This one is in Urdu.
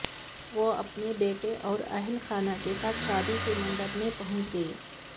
وہ اپنے بیٹے اور اہل خانہ کے ساتھ شادی کے منڈپ میں پہنچ گئی